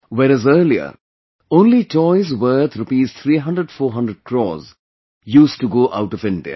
Whereas earlier, only toys worth Rs 300400 crore used to go out of India